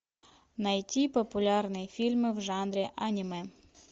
найти популярные фильмы в жанре аниме